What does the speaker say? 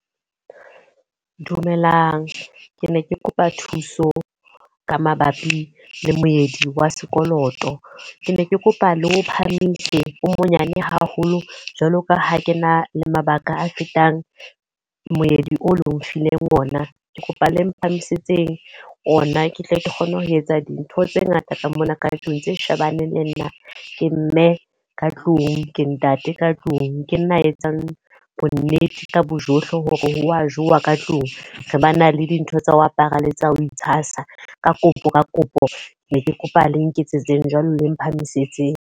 Dumelang, ke ne ke kopa thuso ka mabapi le moedi wa sekoloto. Ke ne ke kopa le o phahamise o monyane haholo jwalo ka ha ke na le mabaka a fetang moedi o le nfileng ona. Ke kopa le mphamisetse ona ke tle ke kgone ho etsa dintho tse ngata ka mona ka tlung tse shebaneng le nna. Ke mme ka tlung, ke ntate ka tlung, ke nna a etsang bo nnete ka bo johle hore ho a jowa ka tlung. Re ba na le dintho tsa ho apara le tsa ho itshasa. Ka kopo ka kopo ne ke kopa le nketsetseng jwalo le mphamisetseng.